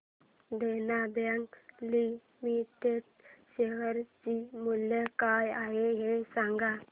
देना bank limited share चे मूल्य काय आहे हे सांगा